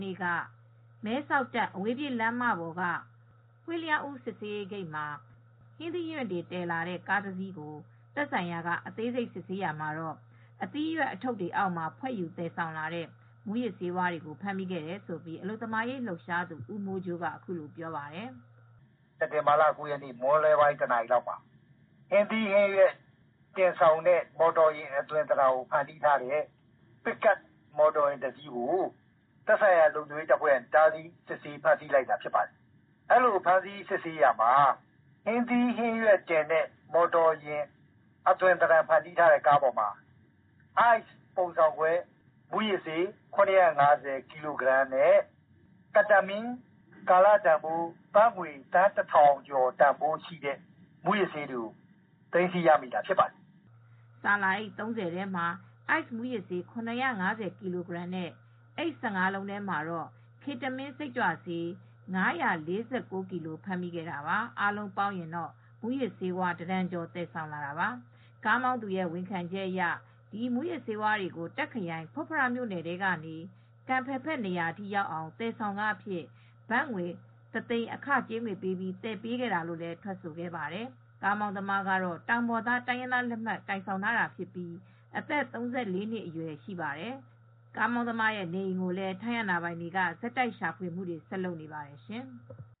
နေ့က မဲဆောက်-တာ့ခ်အဝေးပြေးလမ်းပေါ်က Huai Ya-U စစ်ဆေးရေးဂိတ်မှာ မှာ ဟင်းသီး ဟင်းရွက်တွေတင်လာတဲ့ ကုန်တင်ကားငယ်တစီးကို သက်ဆိုင်ရာက အသေးစိတ်စစ်ဆေးရာမှာ အသီးရွက်အထုတ်တွေအောက်မှာ ဖွက်ယူသယ်ဆောင်လာတဲ့ မူးယစ်ဆေးဝါးတွေကိုဖမ်းမိခဲ့တယ်လို့ အလုပ်သမားရေး လှုပ်ရှားဆောင်ရွက်သူ ဦးမိုးကြိုးက အခုလို ပြောပြပါတယ်။ “စက်တင်ဘာလ ၉ ရက်နေ့ မွန်းလွဲပိုင်း တနာရီလောက်မှာ ဟင်းသီးဟင်းရွက်တွေတင်ဆောင်လာတဲ့ ပစ်ကပ်ကားတစီးကို သက်ဆိုင်ရာလုံခြုံရေးအဖွဲ့တွေက ဖမ်းဆီးခဲ့ပါတယ်။ အဲဒီလိုဖမ်းဆီးစစ်ဆေးရာမှာ ဟင်းသီးဟင်းရွက်ကားအသွင် ဖန်တီးထားတဲ့ကားပေါ်မှာ အိုက်စ်မူးယစ်ဆေး ၇၅၀ ကီလိုဂရမ်နဲ့ မက်သာဖက်တမင်း မူးယစ်ဆေးတွေ ကာလတန်ဖိုးဘတ်ငွေသန်းပေါင်း တထောင်ကျော် တန်ဖိုးရှိတဲ့ ပစ္စည်းတွေကို သိမ်းဆည်းရမိတာဖြစ်ပါတယ်။” ဆာလာအိတ် ၃၀ ထဲမှာ အိုက်စ်မူးယစ်ဆေး ၇၅၀ ကီလိုနဲ့အိတ် ၁၅လုံးထဲမှာတာ့ ketamine, စိတ်ကြွဆေး ၅၄၉ ကီလို ဖမ်းဆီးခဲ့တာပါ။ အားလုံးပေါင်းရင်တော့ မူးယစ်ဆေးတတန်ကျော် သယ်ဆောင်လာတာပါ၊ ကားမောင်းသူရဲ့၀န်ခံချက်အရ ဒီ မူးယစ်ဆေး၀ါးတွေကို တာ့ခ်ခရိုင် ဖွတ်ဖရမြို့နယ်ထဲကနေ ကမ်ဖယ်ဘက်နေရာအထိရောက်အောင် ဘတ်ငွေတသိန်း အခကြေးငွေယူပြီး သယ်ပေးခဲ့တာလို့ထွက်ဆိုခဲ့ပါတယ်။ ကားမောင်းသမားကတော့ တောင်ပေါ်သားလက်မှတ် ကိုင်ဆောင်ထားတာဖြစ်ပြီး အသက် ၃၄ နှစ်အရွယ် ကားမောင်းသမားရဲ့နေအိမ်ကိုလည်း ထိုင်းအာဏာပိုင်တွေက ဆက်တိုက်ရှာဖွေနေပါတယ်ရှင်။